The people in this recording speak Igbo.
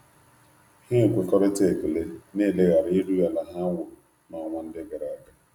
Ha ekwekoritara ekele na eleghara erughi ala ha wụrụ na-onwa ndi agaraga.